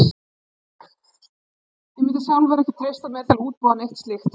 Ég mundi sjálfur ekki treysta mér til að útbúa neitt slíkt.